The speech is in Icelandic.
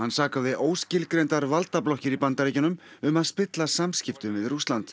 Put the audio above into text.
sakaði óskilgreindar valdablokkir í Bandaríkjunum um að spilla samskiptum við Rússland